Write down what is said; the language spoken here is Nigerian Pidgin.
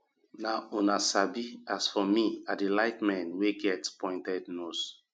na una sabi as for me i dey like men wey get pointed nose